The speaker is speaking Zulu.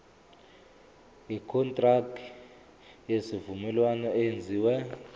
ikontraki yesivumelwano eyenziwe